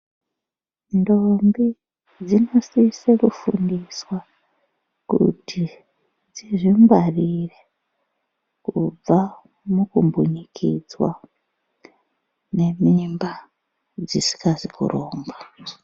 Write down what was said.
Ndombi dzinosise kufundiswa kuti dzizvingwarire kubva mukumbunyikidzwa, nemimba dzisikazi kurongwa.